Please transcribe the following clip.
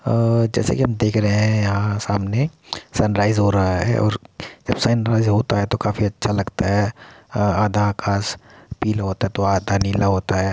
आ जैसा की हम देख रहें है यहा सामने संरइज़ हो रहा है और संराइज़ होता है तो काफी अच्छा लगता है | अ आधा खास पीला होता है तो आधा नीला होता है ।